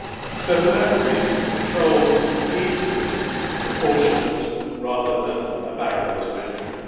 So for that reason, controls need to be proportionate rather than a barrier to entry.